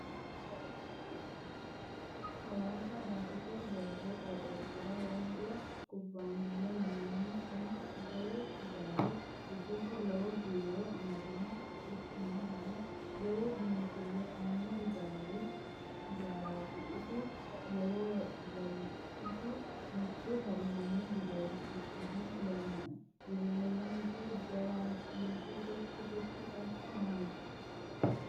Hawaasa daite doogo qooxxeesira wondo kubbaniya yinannihu kuni jawu hijaari giddosi loowo biiro amadinoho quchumahono lowo biinfile aano hijaarati isi mitu hallanyu dureesichiha lawinoe, dureeyenke jawaachinse gotti gotti assa noonke.